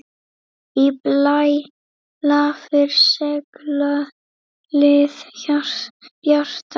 Í blæ lafir seglið bjarta.